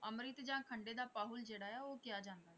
ਅੰਮ੍ਰਿਤ ਜਾਂ ਖੰਡੇ ਦਾ ਪਾਹੁਲ ਜਿਹੜਾ ਆ ਉਹ ਕਿਹਾ ਜਾਂਦਾ ਆ।